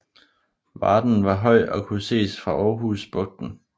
Varden var høj og kunne ses fra Aarhus Bugten